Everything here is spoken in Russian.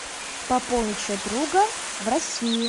пополнить счет друга в россии